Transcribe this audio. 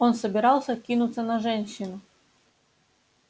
он собирался кинуться на женщину